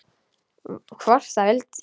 Hvort hann vildi!